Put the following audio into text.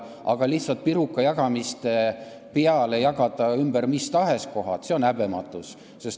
Aga lihtsalt pirukajagamise põhimõttel jagada ümber mis tahes kohad – see on häbematus.